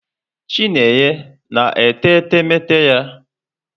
Chinenye na-ete etemeete ya?